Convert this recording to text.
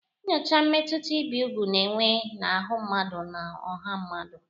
Nyochaa mmetụta ibi úgwù na-enwe n'ahụ́ mmadụ na ọha mmadụ.